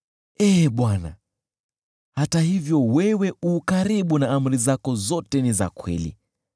Ee Bwana , hata hivyo wewe u karibu, na amri zako zote ni za kweli.